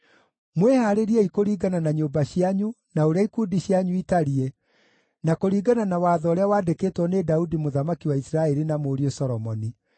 Mwĩhaarĩriei kũringana na nyũmba cianyu na ũrĩa ikundi cianyu itariĩ, na kũringana na watho ũrĩa waandĩkĩtwo nĩ Daudi mũthamaki wa Isiraeli na mũriũ Solomoni.